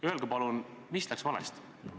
Öelge palun, mis läks valesti!